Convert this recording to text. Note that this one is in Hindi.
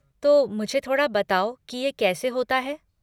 तो मुझे थोड़ा बताओ की ये कैसे होता है।